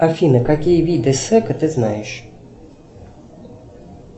афина какие виды сека ты знаешь